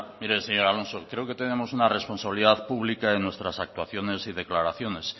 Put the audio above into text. mire señor alonso creo que tenemos una responsabilidad pública de nuestras actuaciones y declaraciones